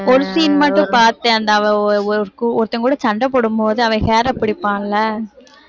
ஒரு scene மட்டும் பாத்தேன் அந்த அவ ஒ~ ஒ~ ஒருத்தன் கூட சண்டை போடும்போது அவன் hair அ பிடிப்பான் இல்ல